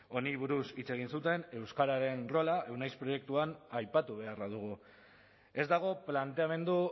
honi buruz hitz egin zuten euskararen rola euneiz proiektuan aipatu beharra dugu ez dago planteamendu